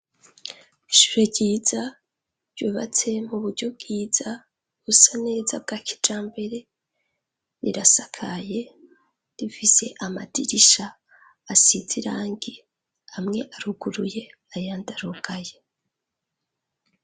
ishure ryiza ryubatse mu buryo bwiza busa neza bwa kijambere rirasakaye rifise amadirisha asize irangi amwe aruguruye ayandi arugaye